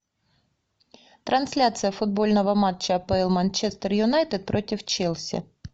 трансляция футбольного матча апл манчестер юнайтед против челси